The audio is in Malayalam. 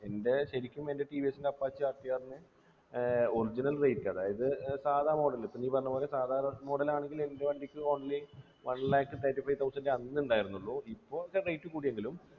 എൻ്റെ ശരിക്കും എൻ്റെ ടി വി എസ്ൻ്റെ apache rtr നു ഏർ original bike അതായത് ഏർ സാദാ model പ്പൊ നീ പറഞ്ഞപോലെ സാദാ model ആണെങ്കില് എൻ്റെ വണ്ടിക്ക് only one lakh seventy five thousand അന്ന് ഉണ്ടായിരുന്നുള്ളു ഇപ്പൊ അതിൻ്റെ rate കൂടിയെങ്കിലും